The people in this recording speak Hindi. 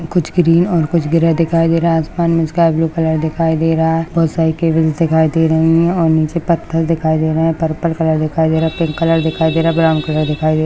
कुछ ग्रीन कुछ ग्रे दिखाई दे रहा है आसमान मे स्काय ब्लू कलर दिखाई दे रहा है बहुत साडी केबल्स दिखाई दे रही है और नीचे पत्थर दिखाई दे रहे है पर्पल कलर दिखाई दे रहा है पिंक कलर दिखाई दे रहा है ब्राउन कलर दिखाई दे रहा --